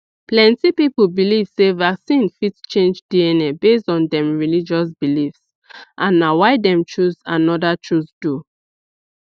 plenty people believe sey vaccine fit change dna based on dem religious beliefs and na why dem choose another choose du